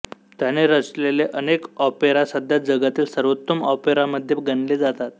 त्याने रचलेले अनेक ऑपेरा सध्या जगातील सर्वोत्तम ऑपेरांमध्ये गणले जातात